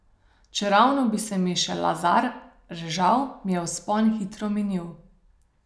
Čeravno bi se mi še lazar režal, mi je vzpon hitro minil.